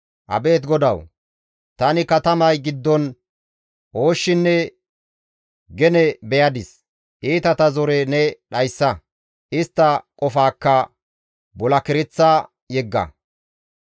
Abeet Godawu! Tani katamay giddon ooshshinne gene beyadis; iitata zore ne dhayssa; istta qofaakka bulakereththa yegga.